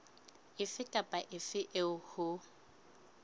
efe kapa efe eo ho